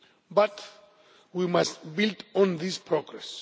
But we must build on this progress.